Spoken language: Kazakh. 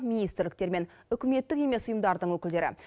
министрліктер мен үкіметтік емес ұйымдардың өкілдері